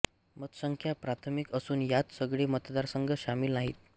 मतसंख्या प्राथमिक असून यात सगळे मतदारसंघ शामिल नाहीत